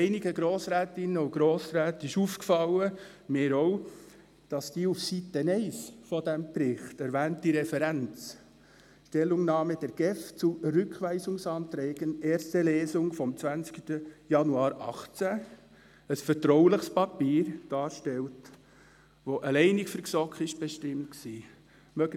Einigen Grossrätinnen und Grossräten ist aufgefallen – mir auch –, dass die auf Seite 1 des Berichts erwähnte Referenz, «Stellungnahme der GEF zu Rückweisungsanträgen erste Lesung vom 20. Januar 2018», ein vertrauliches Papier darstellt, das allein für die GSoK bestimmt war.